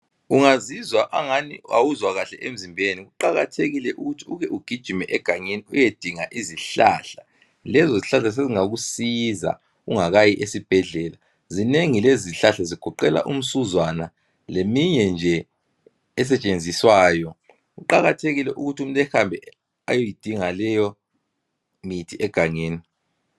Ungazizwa angani awuzwa kahle emzimbeni kuqakathekile ukuthi uke ugijimele egangeni uyedinga izihlahla lezo zihlahla sezingakusiza ungakayi esibhedlela. Zinengi lezo zihlahla zigoqela umsuzwana leminye nje esetshenziswayo kuqakathekile umuntu ehambe eyeyidinga leyo mithi egangeni.